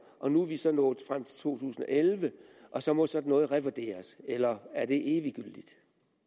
og nu er vi så nået frem til to tusind og elleve og så må sådan noget revurderes eller er det eviggyldigt